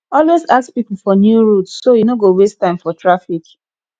always ask people for new routes so you no go waste time for traffic